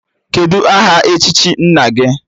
Kedụ aha echichi nna gị?